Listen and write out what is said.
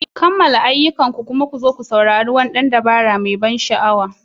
Kammala ayyukanku kuma ku zo ku saurari wani ɗan dabara mai ban sha'awa.